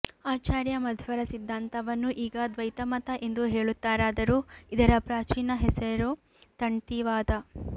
ಆಚಾರ್ಯ ಮಧ್ವರ ಸಿದ್ಧಾಂತವನ್ನು ಈಗ ದ್ವೈತ ಮತ ಎಂದು ಹೇಳುತ್ತಾರಾದರೂ ಇದರ ಪ್ರಾಚೀನ ಹೆಸರು ತಣ್ತೀವಾದ